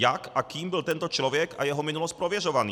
Jak a kým byl tento člověk a jeho minulost prověřován?